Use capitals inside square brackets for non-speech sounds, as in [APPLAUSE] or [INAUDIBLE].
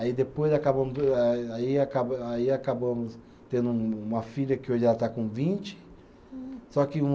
Aí depois acabamos [UNINTELLIGIBLE] do aí acaba, aí acabamos tendo um uma filha que hoje ela está com vinte, só que uma